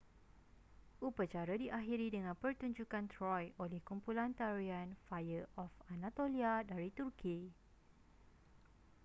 upacara diakhiri dengan pertunjukan troy oleh kumpulan tarian fire of anatolia dari turki